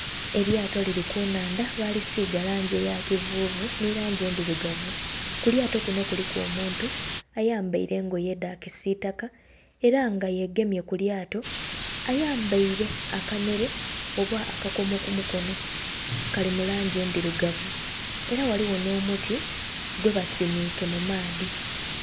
Elyato lili ku nnhandha, baalisiiga langi eya kivuuvu nhi langi endhirugavu. Ku lyato kuno kuliku omuntu ayambaile engoye edha kisiitaka, era nga yegemye ku lyato. Ayambaile akanhere oba akakomo ku mukono, kali mu langi endhirugavu. Era ghaligho nh'omuti gwebasimiike mu maadhi.